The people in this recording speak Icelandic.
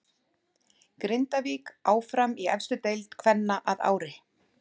Grindavík áfram í efstu deild kvenna að ári.